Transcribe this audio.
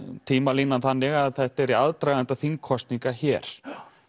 tímalínan þannig að þetta er í aðdraganda þingkosninga hér